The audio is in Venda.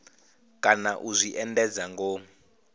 kana u zwi endedza ngomu